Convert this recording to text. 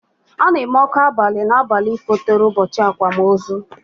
Ana eme ọkụ abali na abalị fotere ụbọchị akwamozu